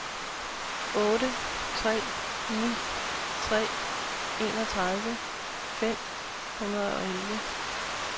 otte tre ni tre enogtredive fem hundrede og elleve